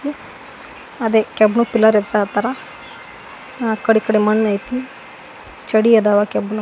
ಅದಕ್ಕೆ ಅತರ ಆ ಕಡೆ ಈ ಕಡೆ ಮಣ್ ಐತಿ ಚಡಿ ಇದ್ದಾವೆ ಕೆಬ್ಬಿಣವು.